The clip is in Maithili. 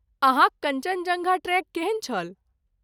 अहाँक कञ्चनजङ्गा ट्रेक केहन छल?